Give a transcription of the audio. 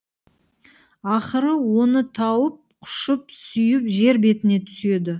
ақыры оны тауып құшып сүйіп жер бетіне түседі